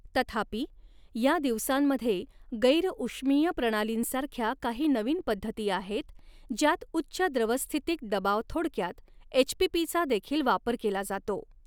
तथापि या दिवसांमध्ये गैर ऊष्मीय प्रणालींसारख्या काही नवीन पद्धती आहेत ज्यात उच्च द्रवस्थितिक दबाव थोडक्यात एचपीपी चा देखील वापर केला जातो.